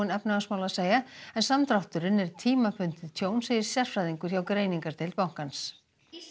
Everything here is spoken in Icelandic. efnahagsmála að segja en samdrátturinn er tímabundið tjón segir sérfræðingur hjá greiningardeild bankans